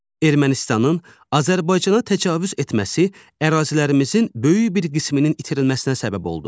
Ermənistanın Azərbaycana təcavüz etməsi ərazilərimizin böyük bir qisminin itirilməsinə səbəb oldu.